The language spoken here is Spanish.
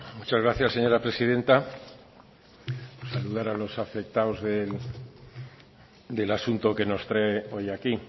muchas gracias señora presidenta saludar a los afectados del asunto que nos trae hoy aquí